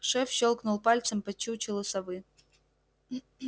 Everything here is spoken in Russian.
шеф щёлкнул пальцем по чучелу совы